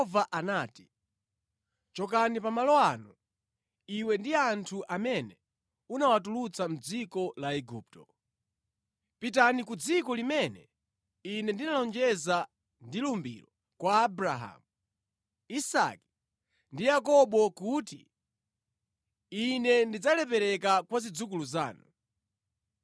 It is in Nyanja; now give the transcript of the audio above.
Ndipo Yehova anati, “Chokani pa malo ano, iwe ndi anthu amene unawatulutsa mʼdziko la Igupto. Pitani ku dziko limene ine ndinalonjeza ndi lumbiro kwa Abrahamu, Isake ndi Yakobo kuti, ‘Ine ndidzalipereka kwa zidzukulu zanu.’